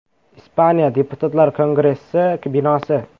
Ispaniya Deputatlar kongressi binosi.